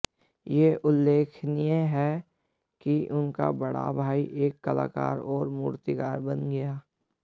यह उल्लेखनीय है कि उनका बड़ा भाई एक कलाकार और मूर्तिकार बन गया